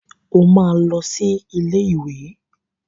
O máa lọ sí ilé ìwé.